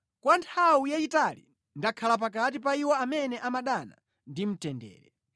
Kwa nthawi yayitali ndakhala pakati pa iwo amene amadana ndi mtendere.